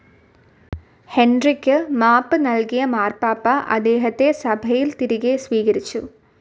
Hendrick മാപ്പ് നൽകിയ മാർപ്പാപ്പ അദ്ദേഹത്തെ സഭയിൽ തിരികെ സ്വീകരിച്ചു.